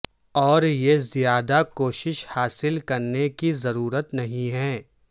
اور یہ زیادہ کوشش حاصل کرنے کی ضرورت نہیں ہے